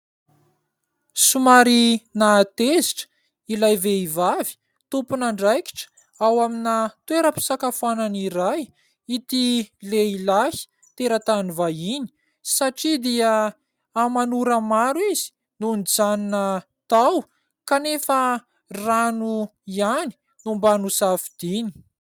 Somary nahatezitra ilay vehivavy tompon'andraikitra ao amina toeram-pisakafoanana iray ity lehilahy teratany vahiny satria dia aman'ora maro izy no nijanona tao kanefa rano ihany no mba nosafidiany.